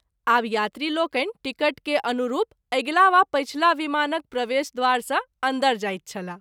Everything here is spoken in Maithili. आब यात्री लोकनि टिकट के अनुरूप अगिला वा पछिला विमानक प्रवेश द्वार सँ अन्दर जाइत छलाह।